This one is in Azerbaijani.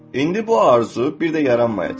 İndi bu arzu bir də yaranmayacaq.